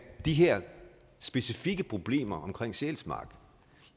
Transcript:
de her specifikke problemer omkring sjælsmark